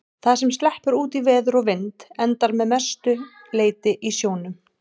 Það sem sleppur út í veður og vind endar að mestu leyti í sjónum.